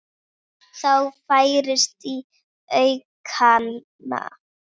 Það færist í aukana.